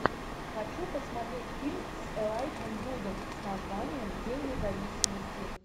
хочу посмотреть фильм с элайджем вудом с названием день независимости